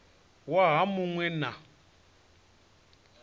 waha mu ṅ we na